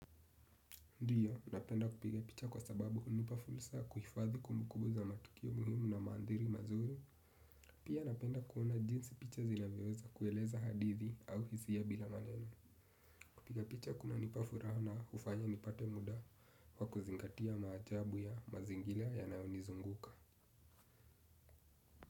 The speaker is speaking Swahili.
Ndio, napenda kupiga picha kwa sababu hunipa fursa ya kuhifadhi kumbukumbu za matukio muhimu na maandhiri mazuri. Pia napenda kuona jinsi picha zinavyoweza kueleza hadithi au hisia bila maneno. Kupiga picha kunanipa furahw na hufanya nipate muda wa kuzingatia maajabu ya mazingira yanayonizunguka.